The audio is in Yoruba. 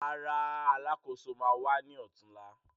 Rárá, Alákóso ma wá ní ọ̀túnla